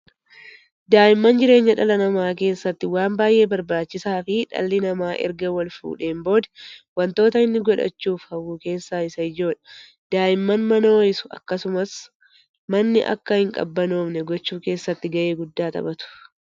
Daa'imman jireenya dhala namaa keessatti waan baay'ee barbaachisaa fi dhalli namaa eega wal-fuudheen booda wontoota inni godhachuuf hawwu keessaa isa ijoodha. Daa'imman mana hoo'isu akkasumas manni akka hin qabbanoofne gochuu keessatti gahee guddaa taphatu.